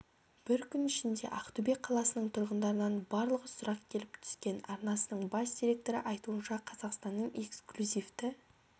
бір күн ішінде ақтөбе қаласының тұрғындарынан барлығы сұрақ келіп түскен арнасының бас директоры айтуынша қазақстанның эксклюзивті